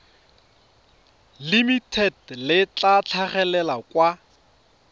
limited le tla tlhagelela kwa